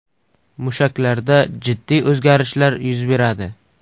Mushaklarda jiddiy o‘zgarishlar yuz beradi.